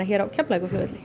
hér á Keflavíkurflugvelli